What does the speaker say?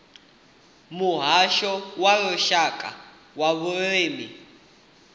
muhasho wa lushaka wa vhulimi